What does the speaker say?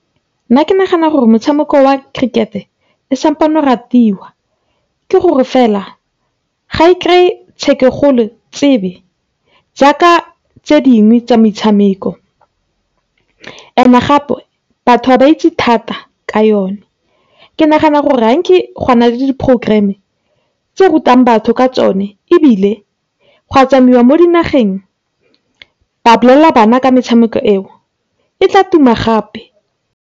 Nna ke nagana gore motshameko oa cricket-e, o ratiwa, ke gore fela ga e kry-e jaaka tse dingwe tsa metshameko, and-e gape batho ga ba itse thata ka yone. Ke nagana gore gwa nna le di-programme-e, tse rutang batho ka tsone ebile, gwa tsamaiwa mo dinageng ba bolelela bana ka metshameko eo, e tla tuma gape.